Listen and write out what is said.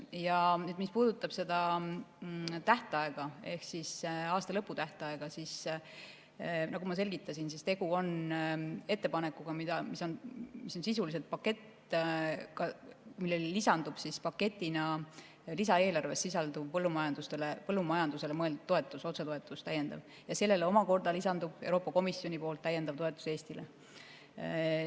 Ja mis puudutab seda tähtaega ehk aastalõpu tähtaega, siis nagu ma selgitasin, on tegu ettepanekuga, mis on sisuliselt pakett, millele lisandub paketina lisaeelarves sisalduv põllumajandusele mõeldud täiendav otsetoetus, ja sellele omakorda lisandub Euroopa Komisjoni täiendav toetus Eestile.